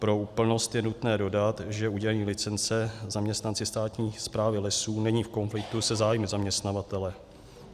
Pro úplnost je nutné dodat, že udělení licence zaměstnanci státní správy lesů není v konfliktu se zájmy zaměstnavatele.